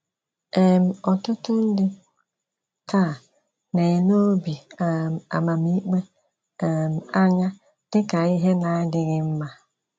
um Ọ̀tụ́tụ̀ ndị taa na - elé obi um amamikpe um anya dị ka ihe na - adịghị mma.